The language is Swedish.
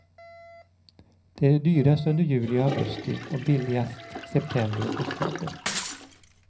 Det är dyrast under juli och augusti och billigast september och oktober.